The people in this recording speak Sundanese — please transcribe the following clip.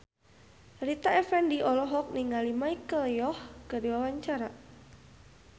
Rita Effendy olohok ningali Michelle Yeoh keur diwawancara